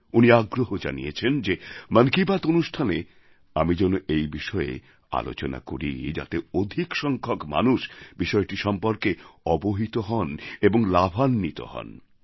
উনি আগ্রহ জানিয়েছেন যে মন কি বাত অনুষ্ঠানে আমি যেন এই বিষয়ে আলোচনা করি যাতে অধিক সংখ্যক মানুষ বিষয়টি সম্পর্কে অবহিত হন এবং লাভান্বিত হন